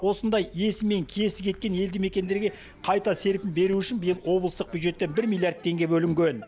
осындай иесі мен киесі кеткен елді мекендерге қайта серпін беру үшін биыл облыстық бюджеттен бір миллиард теңге бөлінген